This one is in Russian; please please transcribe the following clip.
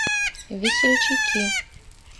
весельчаки